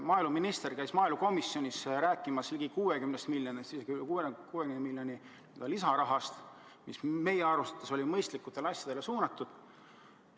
Maaeluminister käis maaelukomisjonis rääkimas ligi 60 miljonist või isegi rohkem kui 60 miljonist lisarahast, mis meie arvates oli mõistlikele asjadele suunatud.